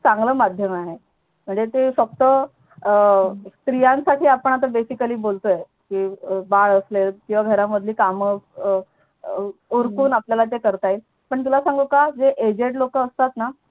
चांगलं माध्यम आहे म्हणजे ते फक्त स्त्रियांसाठी आपण Baically बोलतोय बाळ असले किंवा घर मधील काम उरकावून आपल्याला ते करत येईल पण तुला सांगू का जे Aged लोक असतात ना